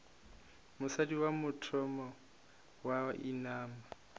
mosadi wa mathomo wa inama